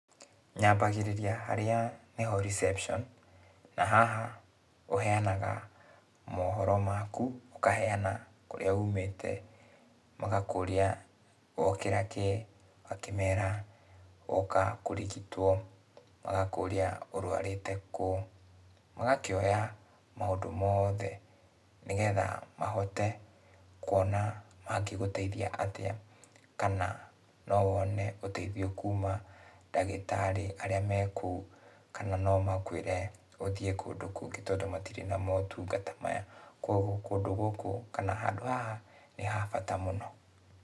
Nyambagĩrĩria harĩa nĩho reception. Na haha, ũheanaga mohoro maku, ũkaheana kũrĩa umĩte, magakũria, wokĩra kĩĩ, ũgakĩmera, woka kũrigitwo. Magakũria ũrũarĩte kũ, magakĩoya maũndũ moothe, nĩgetha mahote kuona mangĩgũteithia atĩa, kana no wone ũteithio kuma ndagĩtarĩ arĩa me kũu, kana no makwĩre ũthiĩ kũndũ kũngĩ tondũ matirĩ na motungata maya. Kuoguo kũndũ gũkũ, kana handũ haha, nĩ habata mũno.